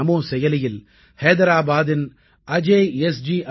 நான் நமோ செயலியில் ஹைதராபாதின் அஜய் எஸ்